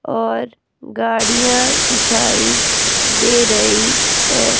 और गाड़ियां दिखाई दे रही है।